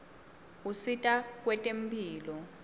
usita kwetemphilo